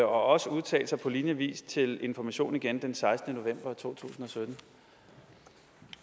også udtalt sig på lignende vis til information igen den sekstende november to tusind